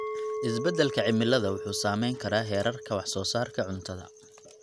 Isbedelka cimilada wuxuu saameyn karaa heerarka wax soo saarka cuntada.